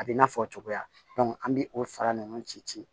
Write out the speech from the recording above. A b'i n'a fɔ cogoya an bɛ o fara ninnu ci ci